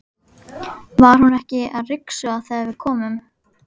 Var hún ekki að ryksuga þegar við komum?